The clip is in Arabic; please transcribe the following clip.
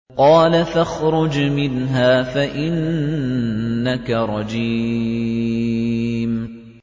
قَالَ فَاخْرُجْ مِنْهَا فَإِنَّكَ رَجِيمٌ